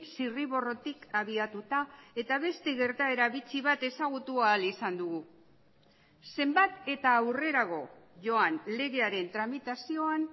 zirriborrotik abiatuta eta beste gertaera bitxi bat ezagutu ahal izan dugu zenbat eta aurrerago joan legearen tramitazioan